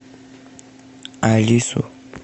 алису